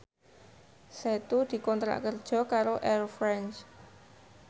Setu dikontrak kerja karo Air France